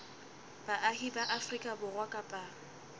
baahi ba afrika borwa kapa